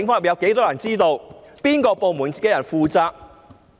由警務處哪個部門的人負責？